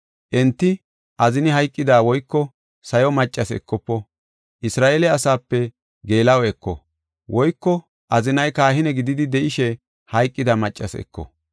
Enti azini hayqida, woyko sayo maccas ekofo. Isra7eele asaape geela7o eko; woyko azinay kahine gididi de7ishe hayqida maccas eko.